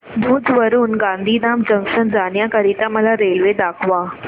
भुज वरून गांधीधाम जंक्शन जाण्या करीता मला रेल्वे दाखवा